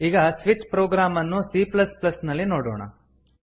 ಈಗ switch program ಅನ್ನು cನಲ್ಲಿ ನೋಡೋಣ